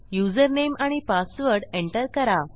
username आणि password enter करा